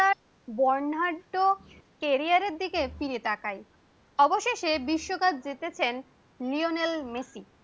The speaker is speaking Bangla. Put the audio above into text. বর্ণাঢ্য ক্যারিয়ারের দিকে ফিরে তাকায় অবশেষে বিশ্বকাপ জিতেছেন লিওনেল মেসি